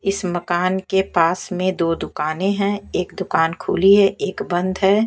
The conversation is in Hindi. इस मकान के पास में दो दुकानें हैं एक दुकान खुली है एक बंद है।